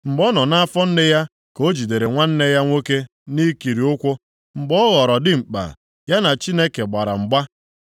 Mgbe ọ nọ nʼafọ nne ya ka o jidere nwanne ya nwoke nʼikiri ụkwụ. Mgbe ọ ghọrọ dimkpa, ya na Chineke gbara mgba.